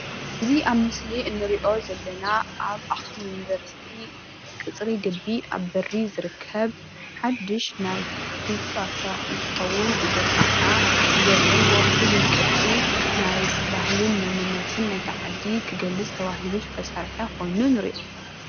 እዚ ኣብ ምስሊ እንሪኦ ዘለና ኣብ ኣክሱም ዩንቨርሲቲ ቅፅሪ ግቢ ኣብ በሪ ዝርከብ ሓዱሽ ናይ ህንፃ ስራሕ እንትከዉን እዚ ከዓ ብዘለዎ ፍሉይ ቅርፂ ናይ ባህልን መንነትን ናይታ ዓዲ ክገልፅ ተባሂሉ ዝተሰርሕ ኮይኑ ንሪኦ።